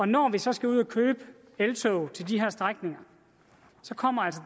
når vi så skal ud at købe eltog til de her strækninger